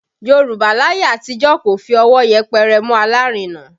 Yorùbá láyé àtijọ́ kò fi ọwọ́ yẹpẹrẹ mú alárinà